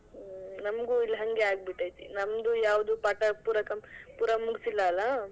ಹ್ಮ್ ನಮಗೂ ಇಲ್ ಹಂಗೇ ಆಗ್ಬಿಟೈತೆ, ನಮ್ದು ಯಾವದು ಪಾಠ ಪೂರಾ ಕಂ ಪೂರಾ ಮುಗ್ಸಿಲ್ಲಾ ಅಲಾ?